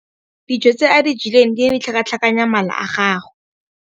Dijô tse a di jeleng di ne di tlhakatlhakanya mala a gagwe.